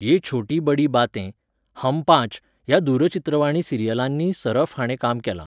ये छोटी बड़ी बातें, हम पांच ह्या दूरचित्रवाणी सिरियलांनीय सरफ हाणें काम केलां.